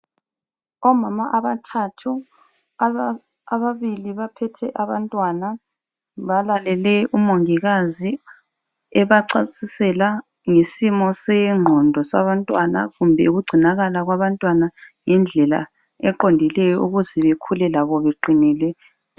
Omama abathathu, ababili baphethe abantwana, balalele umongikazi ebachasisela ngesimo sengqondo sabantwana kumbe ukugcinakala kwabantwana, ngendlela eqondileyo ukuze bakhule labo beqinile.